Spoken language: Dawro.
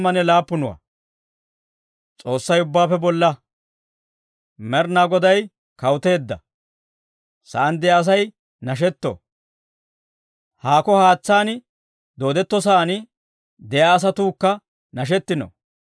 Med'inaa Goday kawuteedda. Sa'aan de'iyaa Asay nashetto; haakko haatsaan dooddetto saan de'iyaa asatuukka nashetino.